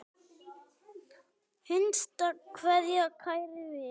HINSTA KVEÐJA Kæri vinur.